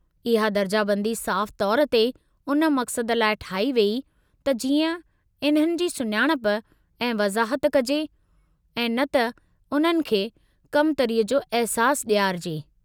इहा दर्जाबंदी साफ़ु तौर ते उन मक़सद लाइ ठाही वेई त जीअं इन्हनि जी सुञाणप ऐं वज़ाहत कजे ऐं न त उन्हनि खे कमतरीअ जो अहिसासु ॾियारिजे।